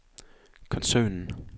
koncernen